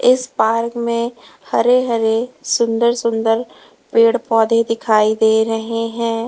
इस पार्क में हरे हरे सुंदर सुंदर पेड़ पौधे दिखाई दे रहे हैं।